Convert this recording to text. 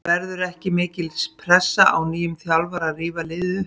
Verður ekki mikil pressa á nýjum þjálfara að rífa liðið upp?